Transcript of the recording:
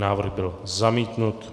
Návrh byl zamítnut.